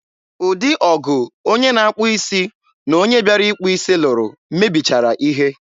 ụdị ọgụ onye na-akpụ isi na onye bịara ịkpụ isi lụrụ mebichara ihe.